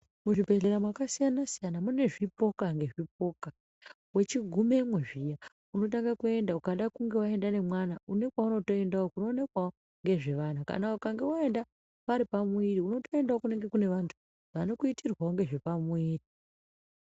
Muzvibhedhleya mwakasiyana siyana mune zvipoka nezvipoka. Uchigumemwo zviya, unotanga kuenda, ukada kunga waenda nemwana une kwaunotoendawo kunoonekwawo ngezvevana. Kana ukange waenda pari pamuviri unotoendaewo kune vanthu vanotoitirwawo ngezvepamuviri.